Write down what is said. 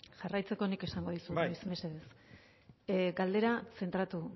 jarraitzeko nik esango dizut bai mesedez galderan zentratu